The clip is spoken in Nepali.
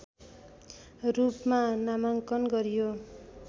रूपमा नामाङ्कन गरियो